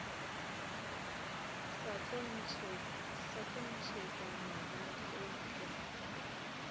sa tlo ntšhetšwa magadi eupša